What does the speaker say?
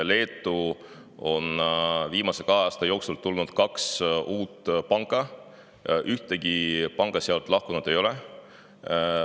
Leetu on viimase kahe aasta jooksul tulnud kaks uut panka, ükski pank sealt lahkunud ei ole.